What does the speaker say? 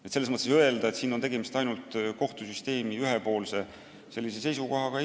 Nii et ei ole õige öelda, et siin on tegemist ainult kohtusüsteemi ühepoolse seisukohaga.